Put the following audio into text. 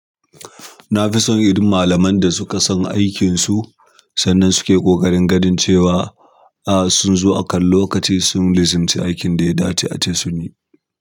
Na fi son irin malaman da suka san aikinsu, sannan suke ƙoƙarin ganin cewa, a sun zo akan lokaci sun lizumci aikin da ya dace ace sun yi.